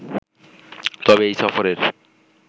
তবে এই সফরের